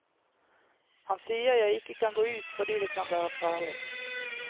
Han sier jeg ikke kan gå ut fordi det kan være farlig.